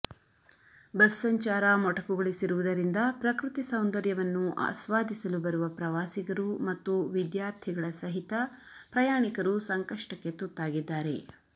bus ಸಂಚಾರ ಮೊಟಕುಗೊಳಿಸಿರುವುದರಿಂದ ಪ್ರಕೃತಿ ಸೌಂದರ್ಯವನ್ನು ಆಸ್ವಾದಿಸಲು ಬರುವ ಪ್ರವಾಸಿಗರು ಮತ್ತು ವಿದ್ಯಾರ್ಥಿಗಳ ಸಹಿತ ಪ್ರಯಾಣಿಕರು ಸಂಕಷ್ಟಕ್ಕೆ ತುತ್ತಾಗಿದ್ದಾರೆ